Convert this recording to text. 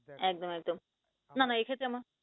একদম একদম, না না এক্ষেত্রে আমরা